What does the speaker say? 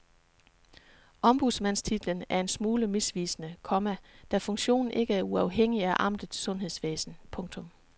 Ombudsmandstitlen er en smule misvisende, komma da funktionen ikke er uafhængig af amtets sundhedsvæsen. punktum